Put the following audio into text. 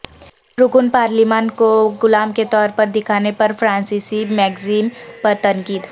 رکن پارلیمان کو غلام کے طور پر دکھانے پر فرانسیسی میگزین پر تنقید